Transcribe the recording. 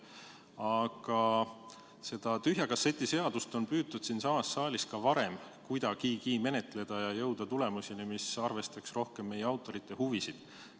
Aga seda tühja kasseti seadust on püütud siinsamas saalis juba varem kuidagigi menetleda ja jõuda tulemuseni, mis arvestaks rohkem meie autorite huvisid.